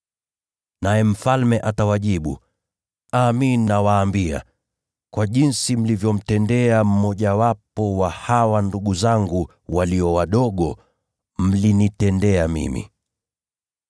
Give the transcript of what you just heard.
“Naye Mfalme atawajibu, ‘Amin nawaambia, kwa jinsi mlivyomtendea mmojawapo wa hawa ndugu zangu walio wadogo, mlinitendea mimi.’